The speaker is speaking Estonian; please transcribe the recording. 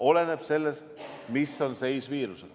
Oleneb sellest, mis seis on viirusega.